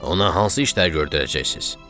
Ona hansı işləri gördərəcəksiz?